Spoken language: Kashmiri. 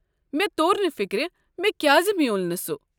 مےٚ توٚر نہِ فِكرِ مےٚ كیازِ مِیوُل نہٕ سہُ۔